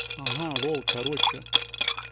ага лол короче